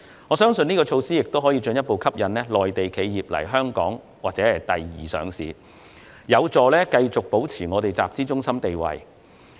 我相信這項措施可以進一步吸引內地企業在香港上市或作第二上市，有助繼續維持香港作為集資中心的地位。